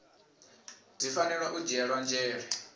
dzi fanela u dzhielwa nzhele